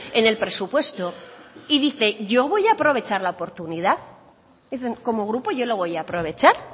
en el presupuesto y dice yo voy a aprovechar la oportunidad como grupo yo lo voy a aprovechar